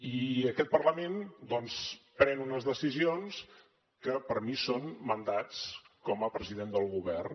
i aquest parlament doncs pren unes decisions que per a mi són mandats com a president del govern